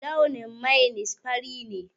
Launin mainis fari ne